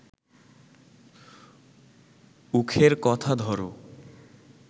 উখের কথা ধর